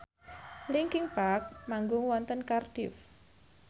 linkin park manggung wonten Cardiff